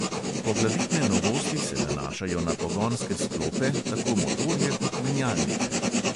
Poglavitne novosti se nanašajo na pogonske sklope, tako motorje kot menjalnike.